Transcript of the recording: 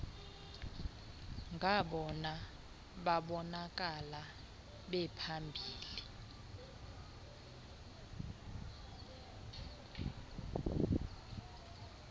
ngabona babonakala bephambili